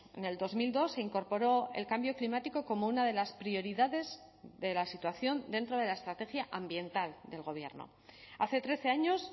en el dos mil dos se incorporó el cambio climático como una de las prioridades de la situación dentro de la estrategia ambiental del gobierno hace trece años